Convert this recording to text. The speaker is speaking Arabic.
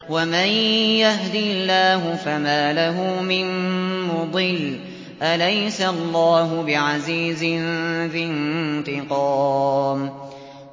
وَمَن يَهْدِ اللَّهُ فَمَا لَهُ مِن مُّضِلٍّ ۗ أَلَيْسَ اللَّهُ بِعَزِيزٍ ذِي انتِقَامٍ